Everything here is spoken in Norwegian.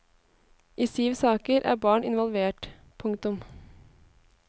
I syv saker er barn involvert. punktum